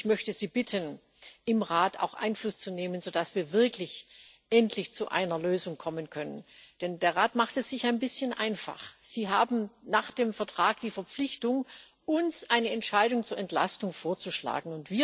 Ich möchte Sie bitten, im Rat Einfluss zu nehmen, so dass wir wirklich endlich zu einer Lösung kommen können, denn der Rat macht es sich ein bisschen einfach. Sie haben nach dem Vertrag die Verpflichtung, uns eine Entscheidung zur Entlastung vorzuschlagen.